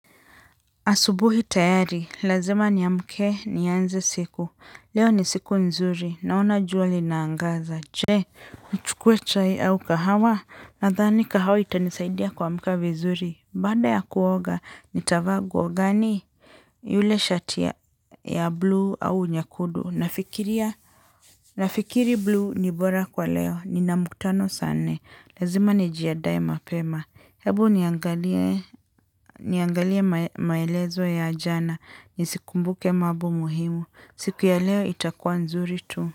Asubuhi tayari, lazima niamke nianze siku, leo ni siku nzuri, naona juwa linaangaza, che, uchukue chai au kahawa, nadhani kahawa itanisaidia kuamuka vizuri, baada ya kuoga, nitavaa guo gani? Yule shati ya blue au nyekudu, nafikiri blue ni bora kwa leo, nina mkutano saa nne, lazima nijiadae mapema, hebu niangalie maelezo ya jana, nisikumbuke mabo muhimu. Siku ya leo itakua nzuri tu.